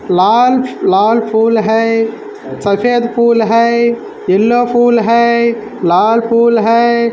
लाल-लाल फूल है सफ़ेद फूल है येल्लो फूल है लाल फूल है।